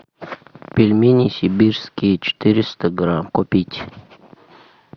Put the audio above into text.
пельмени сибирские четыреста грамм купить